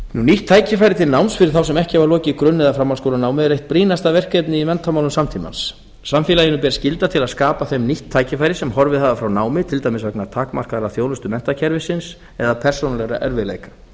nýtt tækifæri til náms fyrir þá sem ekki hafa lokið grunn eða framhaldsskólanámi er eitt brýnasta verkefni í menntamálum samtímans samfélaginu ber skylda til að skapa þeim nýtt tækifæri sem horfið hafa frá námi til dæmis vegna takmarkaðrar þjónustu menntakerfisins eða persónulegra erfiðleika